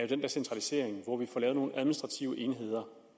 den der centralisering hvor vi får lavet nogle administrative enheder